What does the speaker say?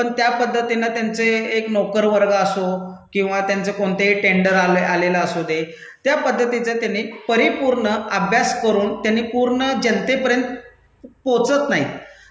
पण त्या पद्धतीनं त्यांचे एक नौकरवर्ग असो किंवा त्याचं कोणतेही टेंडर आलेलं असू दे, त्या पद्धतीचं त्यांनी परिपूर्ण अभ्यास करून त्यांनी पूर्ण जनतेपर्यंत पोहचत नाहीत,